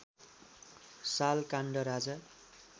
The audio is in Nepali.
साल काण्ड राजा